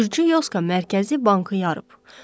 Gürcü Yoska mərkəzi bankı yarıb.